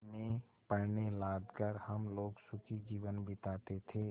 में पण्य लाद कर हम लोग सुखी जीवन बिताते थे